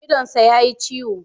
Idonsa ya yi ciwo.